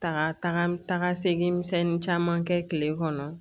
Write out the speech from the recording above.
Taga taga segin caman kɛ kile kɔnɔ